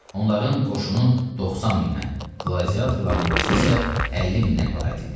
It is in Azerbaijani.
Onların qoşunu 90 mindən, qladiatorların ordusu isə 50 mindən ibarət idi.